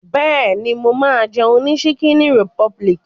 Bẹ́ẹ̀ni, mo máa ń jẹun ní ṣíkíní rìpọbìlìkì.